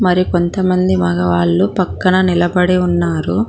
మరి కొంతమంది మగవాళ్లు పక్కన నిలబడి ఉన్నారు.